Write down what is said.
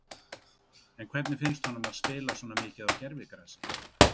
En hvernig finnst honum að spila svo mikið á gervigrasi?